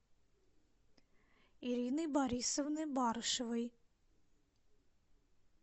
ирины борисовны барышевой